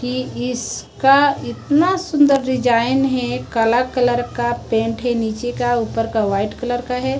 ये इसका इतना सुंदर डिजाइन है काला कलर का पेंट है नीचे का ऊपर का वाइट कलर का है।